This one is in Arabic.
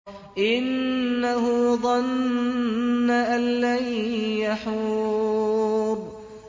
إِنَّهُ ظَنَّ أَن لَّن يَحُورَ